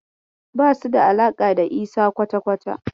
Basu da alaƙa da Isa kwata-kwata.